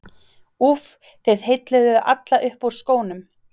úff, þið heilluðuð alla upp úr skónum.